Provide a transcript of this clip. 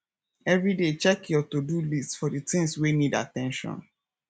every day check your todo list for the things wey need at ten tion